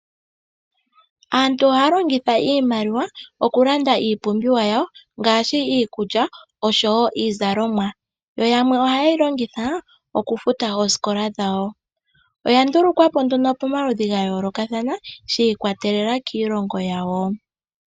Aantu ohaya longitha iimaliwa oku landa iipumbiwa yawo ngaashi iikulya oshowo iizalomwa, yo yamwe ohaye yi longitha oku futa oosikola dhawo. Oya ndulukwa po nduno pomaludhi ga yoolokathana shi ikwatelela kiilongo yawo.